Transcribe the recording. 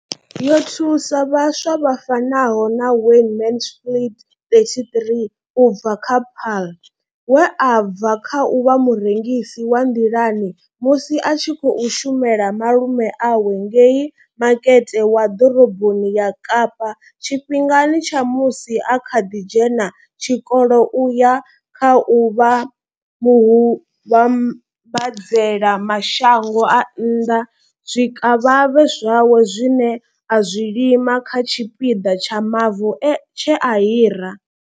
Yo thusa vhaswa vha fanaho na Wayne Mansfield 33 u bva kha Paarl, we a bva kha u vha murengisi wa nḓilani musi a tshi khou shumela malume awe ngei makete wa ḓoroboni ya Kapa tshifhingani tsha musi a kha ḓi dzhena tshikolo u ya kha u vha muvhambadzela mashango a nnḓa zwikavhavhe zwawe zwine a zwi lima kha tshipiḓa tsha mavu tshe a hira.